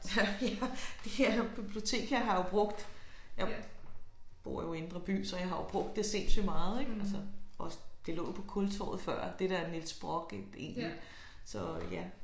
Ja det her bibliotek her har jeg jo brugt jeg bor jo i indre by så jeg bruger det sindssygt meget ik altså også det lå jo på Kultorvet før det der Niels Brock det egentlig så ja